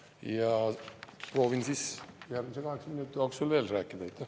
Ja proovin siis järgmise kaheksa minuti jooksul veel rääkida.